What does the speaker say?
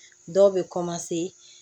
Dɔw bɛ